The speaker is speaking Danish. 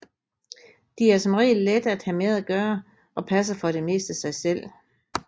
De er som regel lette at have med at gøre og passer for det meste sig selv